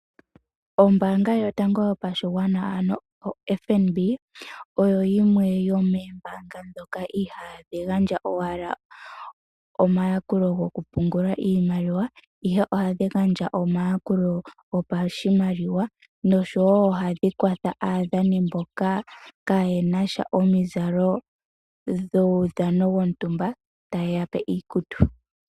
Ombaanga yotango yopashinanena, ano FNB oyo yimwe yomombaanga ndhoka I ha dhi gandja owala omayakulo gokupungula iimaliwa, ihe oha dhi gandja omayalulo gopashimaliwa. Oha dhi kwatha wo aadhani mboka ka ye na omizalo dhuudhano wontumba, ta ye ya pe iikutu.